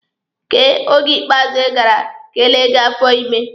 Kee oge ikpeazụ ị gara ka e lee gị afọ ime?